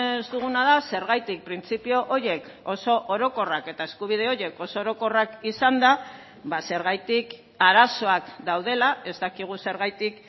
ez duguna da zergatik printzipio horiek oso orokorrak eta eskubide horiek oso orokorrak izanda zergatik arazoak daudela ez dakigu zergatik